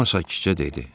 Cemma sakitcə dedi.